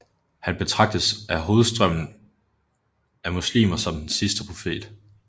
Han betragtes af hovedstrømmen af muslimer som den sidste profet